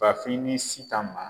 Bafin ni Sitan ma